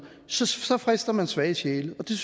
så så frister man svage sjæle og det